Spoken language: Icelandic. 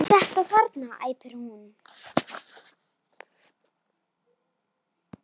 Þetta þarna, æpti hún.